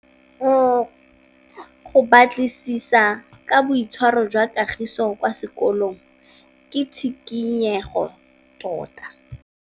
Go batlisisa ka boitshwaro jwa Kagiso kwa sekolong ke tshikinyêgô tota.